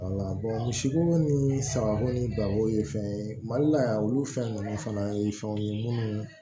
misibo ni sagako ni balo ye fɛn ye mali la yan olu fɛn nunnu fana ye fɛnw ye munnu